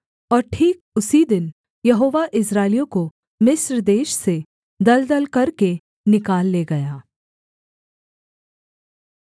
और ठीक उसी दिन यहोवा इस्राएलियों को मिस्र देश से दलदल करके निकाल ले गया